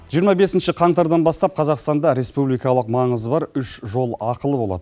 жиырма бесінші қаңтардан бастап қазақстанда республикалық маңызы бар үш жол ақылы болады